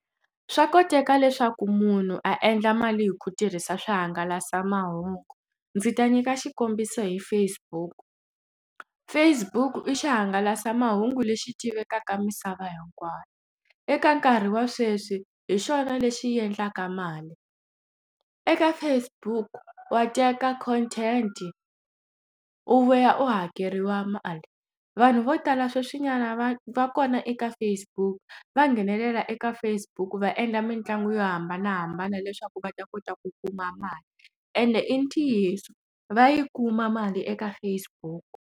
Swa koteka leswaku munhu a endla mali hi ku tirhisa swihangalasamahungu ndzi ta nyika xikombiso hi Facebook Facebook i swihangalasamahungu lexi tivekaka misava hinkwayo eka nkarhi wa sweswi hi xona lexi endlaka mali eka Facebook wa teka content u vuya u hakeriwa mali vanhu vo tala sweswi nga vana va va kona eka Facebook va nghenelela eka Facebook va endla mitlangu yo hambanahambana leswaku va ta kota ku kuma mali ende i ntiyiso va yi kuma mali eka Facebook.